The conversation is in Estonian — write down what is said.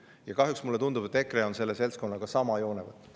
Ja kahjuks mulle tundub, et EKRE on selle seltskonnaga sama joone peal.